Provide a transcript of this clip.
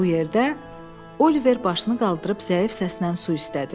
Bu yerdə Oliver başını qaldırıb zəif səslə su istədi.